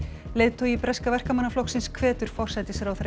leiðtogi breska Verkamannaflokksins hvetur forsætisráðherra